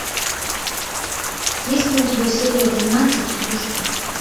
есть ли у тебя серия двенадцать игрушки